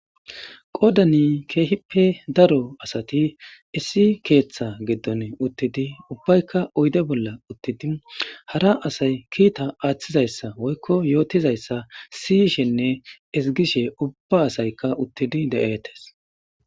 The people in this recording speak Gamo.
Qodani keehippe daro asati issi keeththa giddon uttidi ubbaykka uyde bolla uttidi hara asay kiita aaththizayssa woykko yootizayssa siyishenne isigishe ubba asaykka uttidi de'eetes